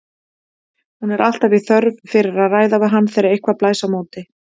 Hún er alltaf í þörf fyrir að ræða við hann þegar eitthvað blæs á móti.